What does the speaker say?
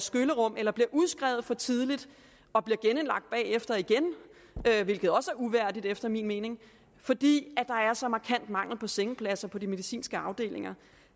skyllerum eller bliver udskrevet for tidligt og bliver genindlagt bagefter igen hvilket også er uværdigt efter min mening fordi der er så markant mangel på sengepladser på de medicinske afdelinger